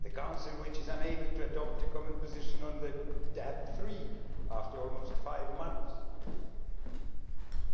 The Council, which is unable to adopt a common position on DAB 3 after almost five months?